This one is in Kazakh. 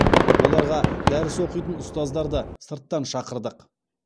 оларға дәріс оқитын ұстаздарды сырттан шақырдық